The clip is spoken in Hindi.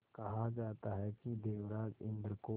कहा जाता है कि देवराज इंद्र को